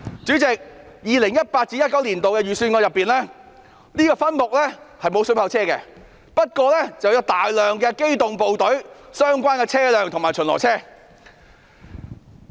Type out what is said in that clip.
在 2018-2019 年度的預算案中，這個分目並不包括水炮車，但包括大量機動部隊的相關車輛及巡邏車。